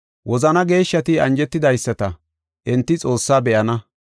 Wozana geeshshati anjetidaysata, enti Xoossaa be7ana.